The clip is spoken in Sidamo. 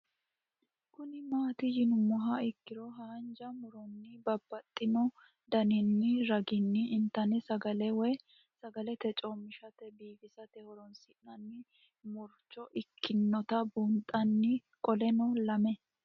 Kuni mati yinumoha ikiro hanja muroni babaxino daninina ragini intani sagale woyi sagali comishatenna bifisate horonsine'morich ikinota bunxana qoleno lame?